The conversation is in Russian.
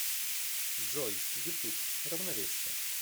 джой ютуб равновесие